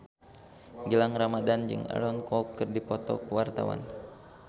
Gilang Ramadan jeung Aaron Kwok keur dipoto ku wartawan